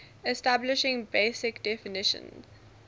establishing basic definition